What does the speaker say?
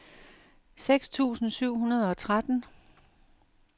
seks tusind syv hundrede og tretten